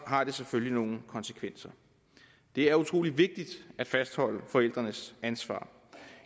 har det selvfølgelig nogle konsekvenser det er utrolig vigtigt at fastholde forældrenes ansvar